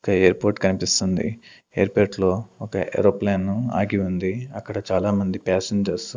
ఒక ఎయిర్పోర్ట్ కనిపిస్తుంది ఎయిర్పోర్ట్ లో ఒక ఏరోప్లేన్ ను ఆగి ఉంది అక్కడ చాలా మంది ప్యాసేన్జర్స్ .